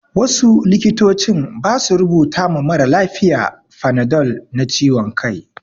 Wasu likitocin ba su rubuta ma maralafiya fanadol na ciwon kai.